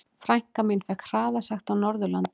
Frænka mín fékk hraðasekt á Norðurlandi.